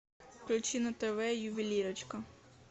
включи на тв ювелирочка